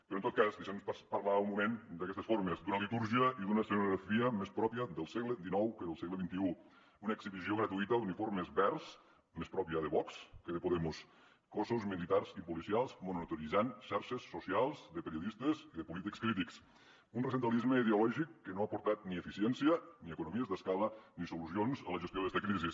però en tot cas deixin me parlar un moment d’aquestes formes d’una litúrgia i d’una escenografia més pròpies del segle xixta d’uniformes verds més pròpia de vox que de podemos cossos militars i policials monitoritzant xarxes socials de periodistes i de polítics crítics un recentralisme ideològic que no ha aportat ni eficiència ni economies d’escala ni solucions a la gestió d’esta crisi